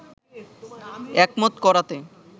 একমত করাতে